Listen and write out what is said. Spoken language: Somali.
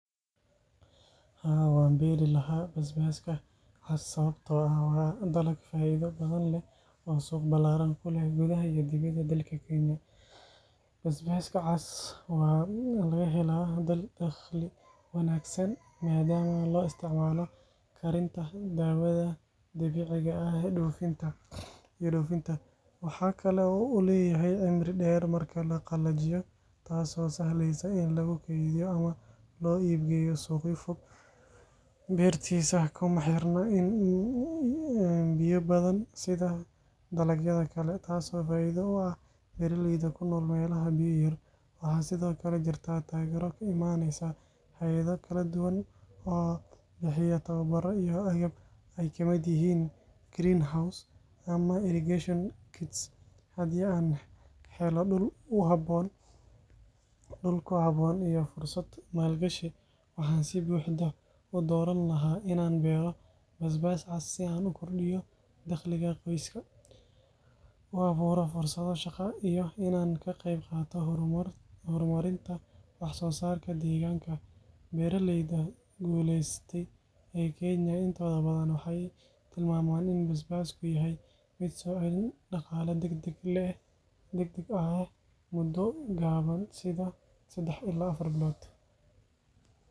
Haa, waan beeri lahaa basbaaska cas sababtoo ah waa dalag faa’iido badan leh oo suuq ballaaran ku leh gudaha iyo dibadda dalka Kenya. Basbaaska cas waxaa laga helaa dakhli wanaagsan maadaama loo isticmaalo karinta, daawada dabiiciga ah iyo dhoofinta. Waxa kale oo uu leeyahay cimri dheer marka la qalajiyo, taasoo sahlaysa in lagu keydiyo ama loo iibgeeyo suuqyo fog. Beertiisa kuma xirna biyo badan sida dalagyada kale, taasoo faa’iido u ah beeralayda ku nool meelaha biyo yar. Waxaa sidoo kale jirta taageero ka imanaysa hay’ado kala duwan oo bixiya tababarro iyo agab ay ka mid yihiin greenhouses ama irrigation kits. Haddii aan helo dhul ku habboon iyo fursad maalgashi, waxaan si buuxda u dooran lahaa inaan beero basbaas cas si aan u kordhiyo dakhliga qoyska, u abuuro fursado shaqo iyo inaan ka qaybqaato horumarinta wax soo saarka deegaanka. Beeralayda guulaystay ee Kenya intooda badan waxay tilmaamaan in basbaasku yahay mid soo celin dhaqaale degdeg ah leh muddo gaaban sida saddex ilaa afar bilood.